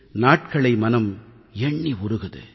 நாட்களை மனம் எண்ணி உருகுது